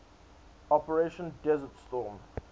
operation desert storm